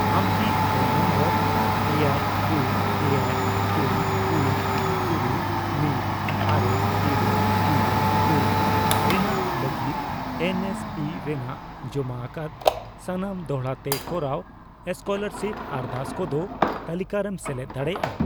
ᱟᱢᱠᱤ phone number ᱮᱭᱟᱭ, ᱯᱩᱱ, ᱮᱭᱟᱭ, ᱯᱩᱱ, ᱯᱩᱱ, ᱛᱩᱨᱩᱭ, ᱢᱤᱫ, ᱟᱨᱮ, ᱤᱨᱟᱹᱞ, ᱤᱨᱟᱹᱞ, ᱯᱩᱱ ᱨᱮᱱᱟᱜ ᱞᱟᱜᱤᱫ ᱮᱱ ᱮᱥ ᱯᱤ ᱨᱮᱱᱟᱜ ᱡᱚᱢᱟ ᱟᱠᱟᱫ ᱥᱟᱱᱟᱢ ᱫᱚᱲᱦᱟ ᱛᱮ ᱠᱚᱨᱟᱣ ᱥᱠᱚᱞᱟᱨᱟᱥᱤᱯ ᱟᱨᱫᱟᱥ ᱠᱚᱫᱚ ᱛᱟᱞᱤᱠᱟᱨᱮᱢ ᱥᱮᱞᱮᱫ ᱫᱟᱲᱮᱭᱟᱜᱼᱟ ?